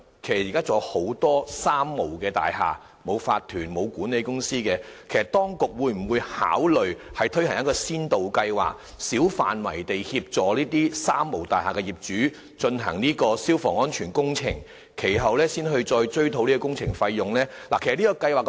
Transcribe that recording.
現時仍有很多"三無大廈"，沒有法團、沒有管理公司，請問局長，當局會否考慮推行先導計劃，小範圍地協助這些"三無大廈"的業主進行消防安全工程，然後再追討工程費用呢？